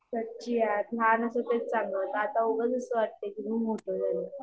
सच्ची यार लहान होतो तेच चांगलं होतं, आता उगाच असं वाटतंय कुठुन मोठे झालो